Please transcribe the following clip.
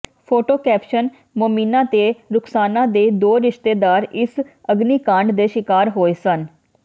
photo caption Momina ਤੇ ਰੁਖ਼ਸਾਨਾ ਦੇ ਦੋ ਰਿਸ਼ਤੇਦਾਰ ਇਸ ਅਗਨੀਕਾਂਡ ਦੇ ਸ਼ਿਕਾਰ ਹੋਏ ਹਨ